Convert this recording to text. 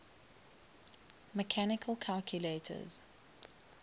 mechanical calculators